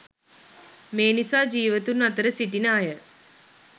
මේ නිසා ජීවතුන් අතර සිටින අය